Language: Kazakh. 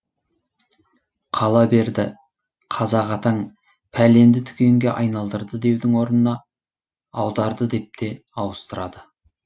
қала берді қазақ атаң пәленді түгенге айналдырды деудің орнына аударды деп те ауыстырады